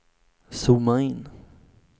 zooma in